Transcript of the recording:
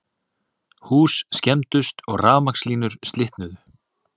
Hús skemmdust og rafmagnslínur slitnuðu